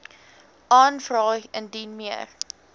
aanvra indien meer